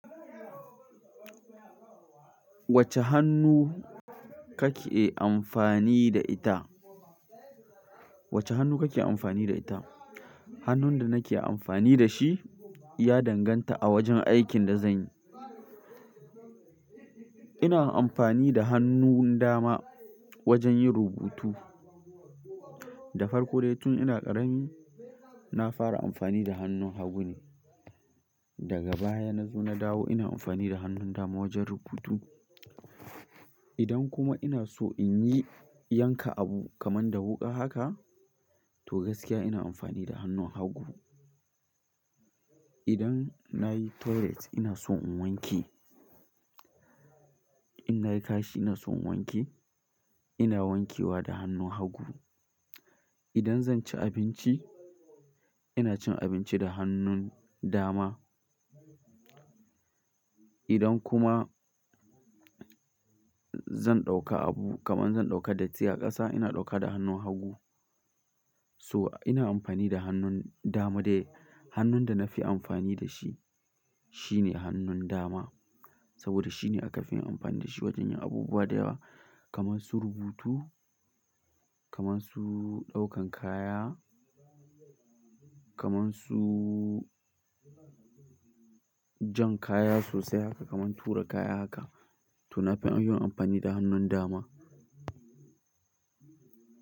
Wacce hannu kake amfani da ita? Wacce hannu kake amfani da ita? Hannun da nake amfani da shi ya danganta a wajen aikin da zanyi. Ina amfani da hannun dama wajen yin rubutu. Da farko dai tun ina ƙarami, na fara amfani da hannun hagu ne. Daga baya na zo na dawo ina amfani da hannun dama wajen rubutu. Idan kuma ina so in yi yanka abu kamar da wuƙa haka to gaskiya ina amfani da hannun hagu. Idan nayi toilet ina so in wanke. In na yi kashi ina so in wanke, ina wankewa da hannun hagu. Idan zan ci abinci ina cin abinci da hannun dama. Idan kuma zan ɗauka abu kaman zan ɗauka datti a ƙasa ina ɗauka da hannun hagu. So ina amfani da hannun dama dai hannun da na fi amfani da shi shine hannun dama. Saboda shine aka fi yin amfani da shi wajen yin abubuwa da yawa kaman su rubutu, kaman su ɗaukan kaya, kaman su. Jan kaya sosai haka, kaman tura kaya haka to nafi yin amfani da hannun dama.